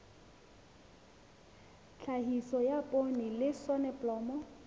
tlhahiso ya poone le soneblomo